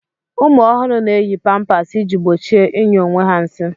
ụmụ ọhụrụ na-eyi pampers iji gbochie ịnyụ onwe ha nsị